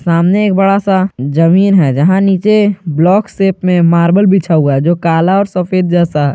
सामने एक बड़ा सा जमीन है जहां नीचे ब्लॉक शॉप में मार्बल बिछा हुआ है जो काला और सफेद जैसा--